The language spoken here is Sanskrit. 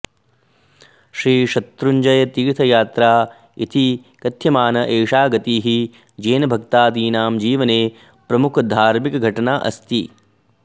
श्रीशत्रुञ्जयतीर्थयात्रा इति कथ्यमाना एषा गतिः जैनभक्तादीनां जीवने प्रमुखधार्मिकघटना अस्ति